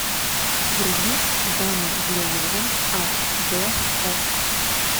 вруби дамы в лиловом аш д окко